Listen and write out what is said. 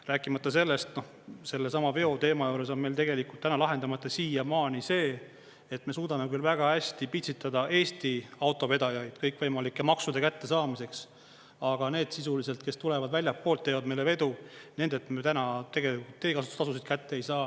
Rääkimata sellest, sellesama veoteema juures on meil tegelikult täna lahendamata siiamaani see, et me suudame küll väga hästi pitsitada Eesti autovedajaid kõikvõimalike maksude kättesaamiseks, aga need sisuliselt, kes tulevad väljastpoolt, teevad meile vedu, nendelt me ju täna tegelikult teekasutustasusid kätte ei saa.